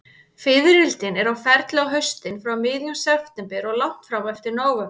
Fiðrildin eru á ferli á haustin, frá miðjum september og langt fram eftir nóvember.